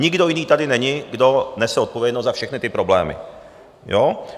Nikdo jiný tady není, kdo nese odpovědnost za všechny ty problémy, jo?